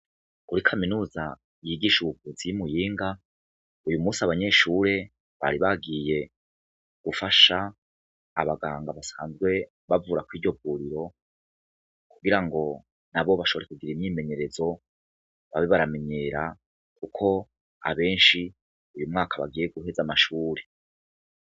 Kuri kaminuza yigisha ubuvuzi y'Imuyinga, uyu musi abanyeshure bari bagiye gufasha abaganga basanzwe bauvura kwiryo vuriro kugirango nabo bashobore kugira imyimenyerezo, babe baramenyera kuko abenshi uyu mwaka bagiye guheza amashure.